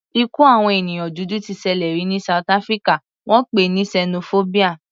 Ikú àwọn ènìyàn dúdú t ṣẹlẹ̀ rí ní south Africa, wọ́n pè é ní sẹnofóbíà.